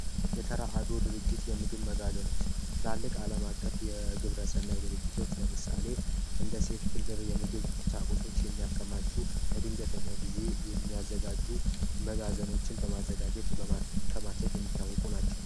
የተራድኦ ድርጅት የምግብ መጋዝኖች ትላልቅ አለም አቀፍ የግብረሰናይ ድርጅቶች ለምሳሌ ዩኒሴፍ ችልድረን የምግም ቁሳቁሶች የሚያከማቹ ለድንገተኛ ጊዜ የሚያዘጋጁ ዘሮችን በማከማቸት